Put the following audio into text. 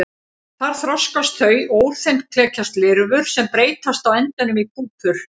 Þar þroskast þau og úr þeim klekjast lirfur sem breytast á endanum í púpur.